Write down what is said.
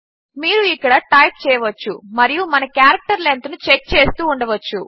మీరు ఇక్కడ టైప్ చేయవచ్చు మరియు మన క్యారెక్టర్ లెంత్ను చెక్ చేస్తూ ఉండవచ్చు